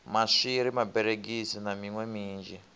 maswiri maberegisi na miṋwe minzhi